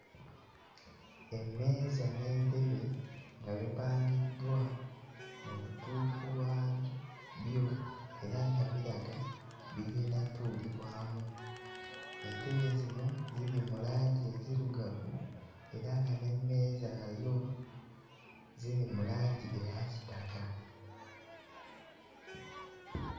Emmeeza n'entebe nga bipangiddwa mu butuufu bwa byo era nga biraga bigenda ttuulibwamu entebe zino ziri mu langi enzirugavu era nga n'emmeeza nazo ziri mu langi eya kitaka.